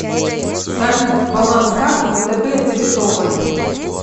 салют баланс карты втб дебетовой